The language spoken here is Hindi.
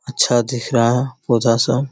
अच्छा दिख रहा है पौधा सब ।